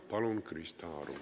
Palun, Krista Aru!